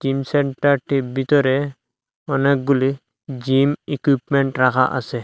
সেন্টারটির বিতরে অনেকগুলি gym equipment রাখা আসে।